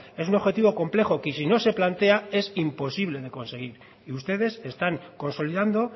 es un objetivo complejo que si no se plantea es imposible no conseguir y ustedes están consolidando